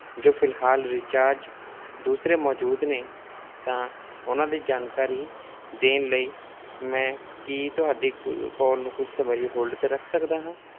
ਜੋ ਫਿਲਹਾਲ recharge ਦੂਸਰੇ ਮੌਜੂਦ ਨੇ ਤਾਂ ਉਹਨਾਂ ਦੀ ਜਾਣਕਾਰੀ ਦੇਣ ਲਈ ਮੈਂ ਕੀ ਤੁਹਾਡੀ ਕ~ call ਨੂੰ ਕੁੱਝ ਸਮੇਂ ਲਈ hold ਤੇ ਰੱਖ ਸਕਦਾ ਹਾਂ?